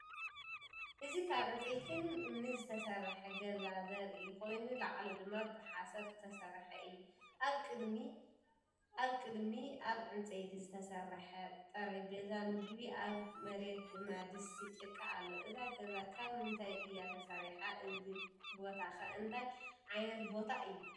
እዚ ካብ ዕንጨይትን እምንን ዝተሰርሐ ገዛ ዘርኢ ኮይኑ፡ ላዕሉ ድማ ብሓሰር ዝተሰርሐ እዩ። ኣብ ቅድሚት ኣብ ዕንጨይቲ ዝተሰርሐ ጠረጴዛ ምግቢ፡ ኣብ መሬት ድማ ድስቲ ጭቃ ኣሎ። እዛ ገዛ ካብ ምንታይ እያ ተሰሪሓ? እዚ ቦታከ እንታይ ዓይነት ቦታ እዩ?